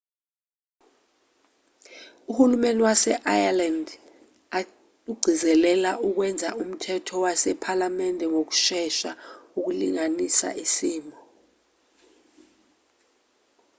uhulumeni wase-ireland ugcizelela ukwenza umthetho wasephalamende ngokushesha ukulungisa isimo